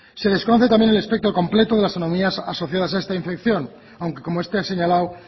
se desconoce también el espectro completo de las anomalías asociadas a esta infección aunque como usted ha señalado